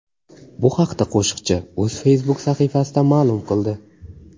Bu haqda qo‘shiqchi o‘z Facebook sahifasida ma’lum qildi .